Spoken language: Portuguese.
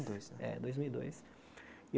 Dois é dois mil e dois